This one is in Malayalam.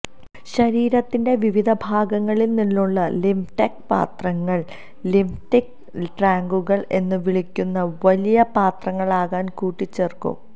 ശരീരത്തിന്റെ വിവിധ ഭാഗങ്ങളിൽ നിന്നുള്ള ലിംഫ്ടറ്റ് പാത്രങ്ങൾ ലിംഫാറ്റിക് ട്രങ്കുകൾ എന്ന് വിളിക്കുന്ന വലിയ പാത്രങ്ങളാകാൻ കൂട്ടിച്ചേർക്കും